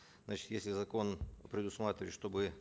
значит если закон предусматривает чтобы